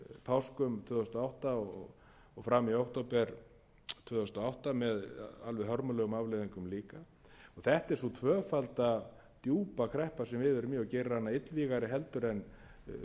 páskum tvö þúsund og átta og fram í október tvö þúsund og átta með alveg hörmulegum afleiðingum líka þetta er sú tvöfalda djúpa kreppa sem við erum í og gerir hana illvígari heldur en